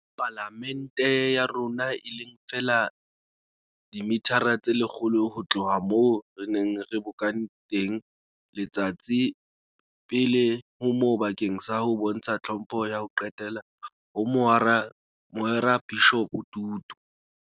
Pala mente ya rona, e leng feela dimithara tse lekgolo ho tloha moo re neng re bokane teng letsatsi pele ho moo bakeng sa ho bontsha tlhompho ya ho qetela ho Moarekabishopo Tutu.